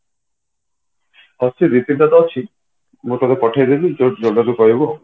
ଅଛି ଦି ତିନିଟା ତ ଅଛି ମୁଁ ତତେ ପଠେଇ ଦେବି ଯେବେବି କହିବୁ